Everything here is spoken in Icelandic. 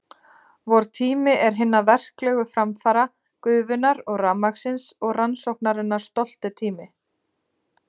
Vor tími er tími hinna verklegu framfara, gufunnar og rafmagnsins og rannsóknarinnar stolti tími.